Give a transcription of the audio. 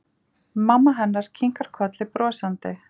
Mamma hennar kinkar kolli brosandi.